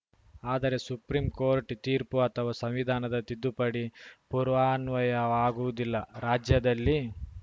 ಆದರೆ ಸುಪ್ರೀಂಕೋರ್ಟ್‌ ತೀರ್ಪು ಅಥವಾ ಸಂವಿಧಾನದ ತಿದ್ದುಪಡಿ ಪೂರ್ವಾನ್ವಯವಾಗುವುದಿಲ್ಲ ರಾಜ್ಯದಲ್ಲಿ